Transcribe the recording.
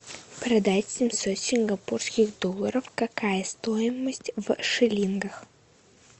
продать семьсот сингапурских долларов какая стоимость в шиллингах